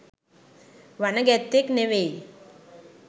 වන ගැත්තෙක් නෙමෙයි.